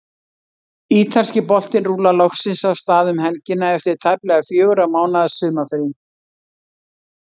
Ítalski boltinn rúllar loksins af stað um helgina eftir tæplega fjögurra mánaða sumarfrí.